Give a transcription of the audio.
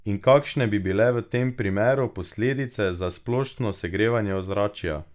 In kakšne bi bile v tem primeru posledice za splošno segrevanje ozračja?